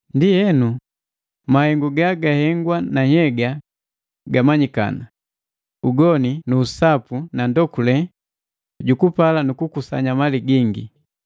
Ndienu, mahengu gahengwa na nhyega gamanyikana, ugoni na usapu na ndokule jukupala nuku kukusanya mali gingi,